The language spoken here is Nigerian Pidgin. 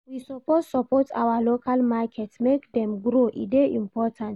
We suppose support our local market make dem grow, e dey important.